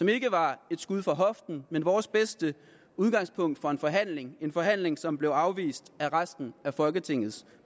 ikke var et skud fra hoften men vores bedste udgangspunkt for en forhandling en forhandling som blev afvist af resten af folketingets